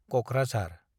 Kokrajhar